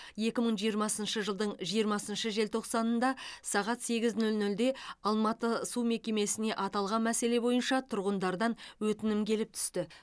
екі мың жиырмасыншы жылдың жиырмасыншы желтоқсанында сағат сегіз нөл нөлде алматы су мекемесіне аталған мәселе бойынша тұрғындардан өтінім келіп түсті